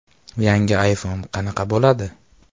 Yangi iPhone qanaqa bo‘ladi?